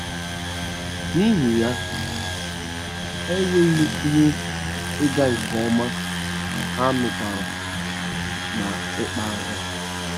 N’ihi ya, ha enweghị ihe ịga nke ọma, ha nwụkwara n’ịkpa ahụ.